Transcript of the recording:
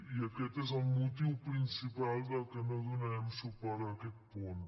i aquest és el motiu principal pel qual no donarem suport a aquest punt